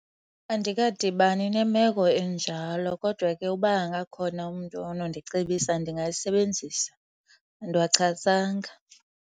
Andikadibani nemeko enjalo kodwa ke uba angakhona umntu onondicebisa ndingayisebenzisa, andiwachasanga.